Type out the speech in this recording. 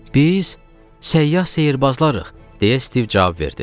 Biz səyyah sehrbazlarıq, - deyə Stiv cavab verdi.